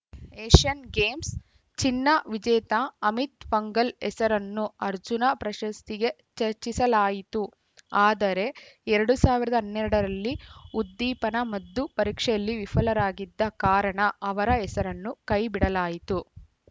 Asian Games ಚಿನ್ನ ವಿಜೇತ ಅಮಿತ್‌ ಫಂಗಲ್‌ ಹೆಸರನ್ನು ಅರ್ಜುನ ಪ್ರಶಸ್ತಿಗೆ ಚರ್ಚಿಸಲಾಯಿತು ಆದರೆ ಎರಡು ಸಾವಿರದ ಹನ್ನೆರಡರಲ್ಲಿ ಉದ್ದೀಪನ ಮದ್ದು ಪರೀಕ್ಷೆಯಲ್ಲಿ ವಿಫಲರಾಗಿದ್ದ ಕಾರಣ ಅವರ ಹೆಸರನ್ನು ಕೈಬಿಡಲಾಯಿತು